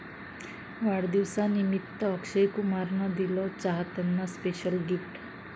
वाढदिवसनिमित्त अक्षय कुमारन दिलं चाहत्यांना स्पेशल गिफ्ट